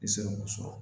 I bɛ se k'o sɔrɔ